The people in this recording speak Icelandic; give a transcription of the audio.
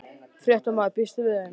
Fréttamaður: Býstu við þeim?